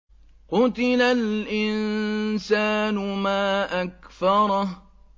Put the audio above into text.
قُتِلَ الْإِنسَانُ مَا أَكْفَرَهُ